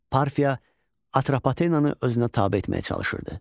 Parfiya Atropatenanı özünə tabe etməyə çalışırdı.